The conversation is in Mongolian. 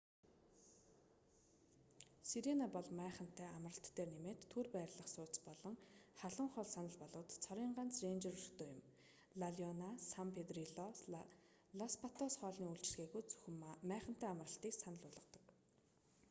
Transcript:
сирена бол майхантай амралт дээр нэмээд түр байрлах сууц болон халуун хоол санал болгодог цорын ганц рэнжер өртөө юм ла леона сан педрилло лос патос хоолны үйлчилгээгүй зөвхөн майхантай амралтыг санал болгодог